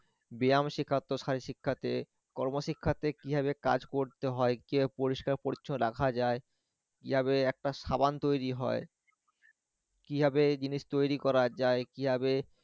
কর্মশিক্ষারত্রে থেকে কিভাবে কাজ করতে হয়? কিভাবে পরিষ্কার পরিচ্ছন্ন রাখা যায়? কিভাবে একটা সাবান তৈরি হয়? কিভাবে জিনিস তৈরী যায়? কিভাবে